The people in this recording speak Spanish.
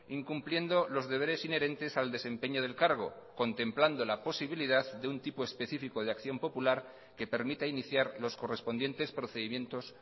incumpliendo los deberes inherentes al desempeño del cargo contemplando la posibilidad de un tipo específico de acción popular que permita iniciar los correspondientes procedimientos